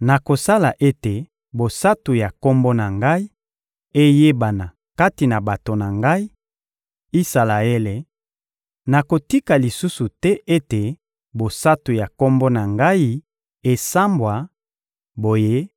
Nakosala ete bosantu ya Kombo na Ngai eyebana kati na bato na Ngai, Isalaele; nakotika lisusu te ete bosantu ya Kombo na Ngai esambwa; boye